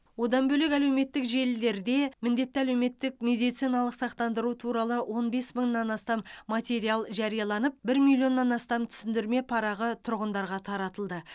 одан бөлек әлеуметтік желілерде міндетті әлеуметтік медициналық сақтандыру туралы он бес мыңнан астам материал жарияланып бір миллионнан астам түсіндірме парағы тұрғындарға таратылды